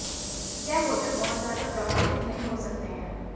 ये होटल बहुत ज्यादा प्रभावित नहीं हो सकते हैं